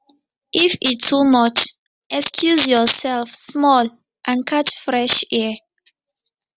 if e too much excuse yourself small and catch fresh air